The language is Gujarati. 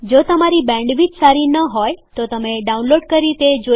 જો તમારી બેન્ડવિડ્થ સારી ન હોય તો તમે ડાઉનલોડ કરી તે જોઈ શકો છો